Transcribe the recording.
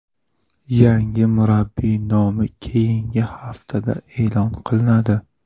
Yangi murabbiy nomi keyingi haftada e’lon qilinadi.